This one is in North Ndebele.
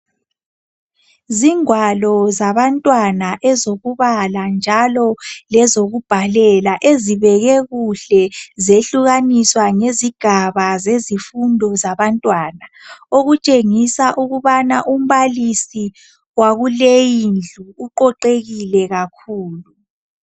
Zingwalo zabantwana ezokubala njalo lezokubhalela ezibeke kuhle zehlukaniswa ngezigaba zezifundo zabantwana okutshengisa ukubana umbalisi wakuleyindlu uqoqekile kakhulu.